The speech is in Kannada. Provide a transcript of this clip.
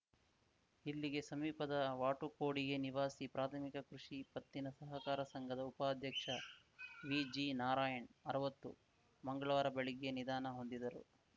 ಇಲ್ಲಿಗೆ ಸಮೀಪದ ವಾಟುಕೊಡಿಗೆ ನಿವಾಸಿ ಪ್ರಾಥಮಿಕ ಕೃಷಿ ಪತ್ತಿನ ಸಹಕಾರ ಸಂಘದ ಉಪಾಧ್ಯಕ್ಷ ವಿಜಿನಾರಾಯಣ್‌ ಅರ್ವತ್ತು ಮಂಗ್ಳವಾರ ಬೆಳಗ್ಗೆ ನಿಧನ ಹೊಂದಿದರು